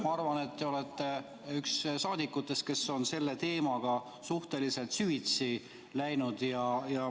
Ma arvan, et te olete üks saadikutest, kes on selle teemaga suhteliselt süvitsi läinud.